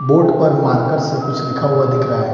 Board पर marker से कुछ लिखा हुआ दिख रहा है।